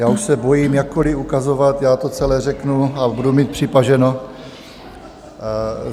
Já už se bojím jakkoliv ukazovat, já to celé řeknu a budu mít připaženo.